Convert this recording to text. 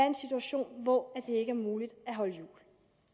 en situation hvor det ikke er muligt at holde jul